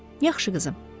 Yaxşı qızım.